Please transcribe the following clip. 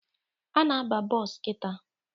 Ana aba bọsụ kịta